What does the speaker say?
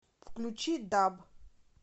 включи даб